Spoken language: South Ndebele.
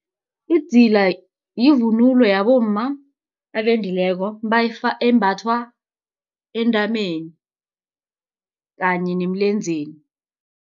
Idzila yivunulo yabomma abendileko embathwa entameni kanye nemilenzeni.